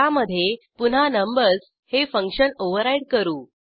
त्यामधे पुन्हा नंबर्स हे फंक्शन ओव्हरराईड करू